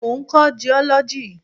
Mo ń kọ́ jiọ́lọ́jì.